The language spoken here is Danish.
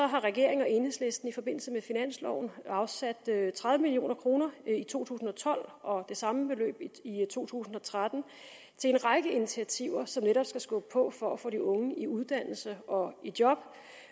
har regeringen og enhedslisten i forbindelse med finansloven afsat tredive million kroner i to tusind og tolv og det samme beløb i to tusind og tretten til en række initiativer som netop skal skubbe på for at få de unge i uddannelse og i job